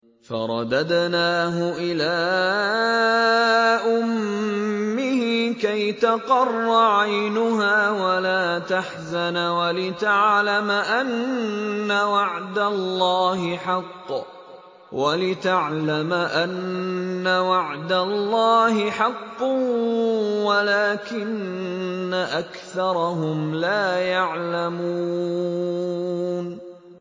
فَرَدَدْنَاهُ إِلَىٰ أُمِّهِ كَيْ تَقَرَّ عَيْنُهَا وَلَا تَحْزَنَ وَلِتَعْلَمَ أَنَّ وَعْدَ اللَّهِ حَقٌّ وَلَٰكِنَّ أَكْثَرَهُمْ لَا يَعْلَمُونَ